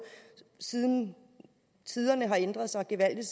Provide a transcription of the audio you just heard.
siden tiderne har ændret sig gevaldigt